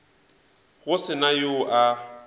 go se na yo a